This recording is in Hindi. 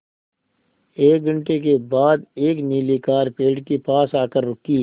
एक घण्टे बाद एक नीली कार पेड़ के पास आकर रुकी